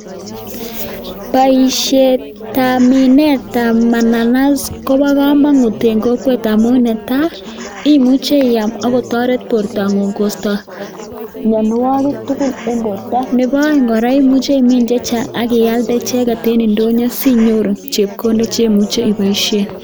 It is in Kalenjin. Boisietab minetab mananas kobo komonut en kokwet amun ne taa: imuche iam agotoret bortang'ung kosto mianwogik tugul en borto. Nebo oeng' kora imuche imin che chang ak ialde icheget en ndonyo sinyoru chepkondok che muche iboishen.